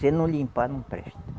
Se não limpar, não presta.